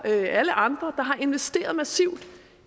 alle andre der har investeret massivt